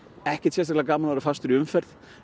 ekkert sérstaklega gaman að vera fastur í umferð